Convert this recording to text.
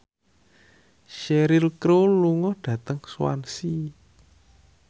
Cheryl Crow lunga dhateng Swansea